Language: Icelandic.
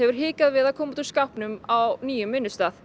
hikað við að koma út úr skápnum á nýjum vinnustað